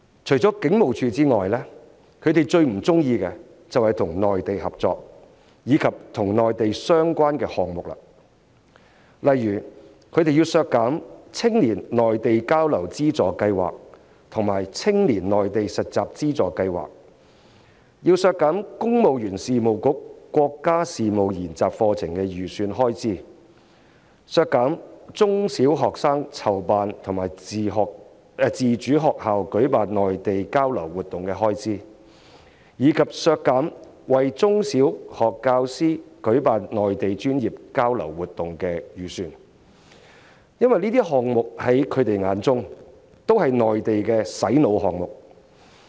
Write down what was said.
除了警務處外，他們最不喜歡就是與內地合作及與內地相關的項目，例如他們要求削減青年內地交流資助計劃及青年內地實習資助計劃的預算開支、削減公務員事務局國家事務研習課程的預算開支、削減中小學生籌辦或資助學校舉辦內地交流活動的預算開支，以及削減為中小學教師舉辦內地專業交流活動的預算開支，因為這些項目在他們的眼中均是國內的"洗腦"項目。